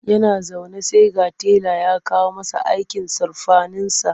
Yana zaune sai ga tela ya kawo masa aikin surfaninsa.